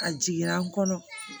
A jiginna n kɔnɔ